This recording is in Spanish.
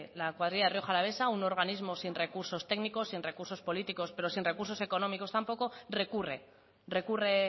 la cuadrilla rioja alavesa un organismo sin recursos técnicos sin recursos políticos pero sin recursos económicos tampoco recurre recurre